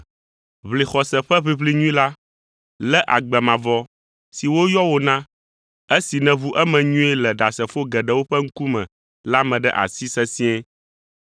Ʋli xɔse ƒe ʋiʋli nyui la, lé agbe mavɔ si woyɔ wò na, esi nèʋu eme nyuie le ɖasefo geɖewo ƒe ŋkume la me ɖe asi sesĩe.